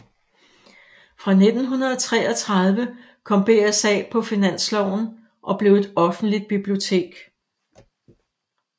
Fra 1933 kom BSA på Finansloven og blev et offentligt bibliotek